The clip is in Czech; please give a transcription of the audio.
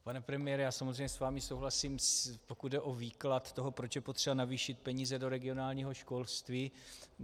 Pane premiére, já samozřejmě s vámi souhlasím, pokud jde o výklad toho, proč je potřeba navýšit peníze do regionálního školství.